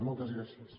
moltes gràcies